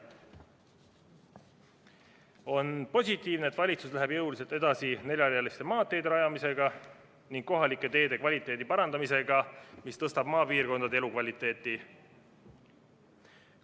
On positiivne, et valitsus läheb jõuliselt edasi neljarealiste maanteede rajamisega ning kohalike teede kvaliteedi parandamisega, mis tõstab maapiirkondade elukvaliteeti.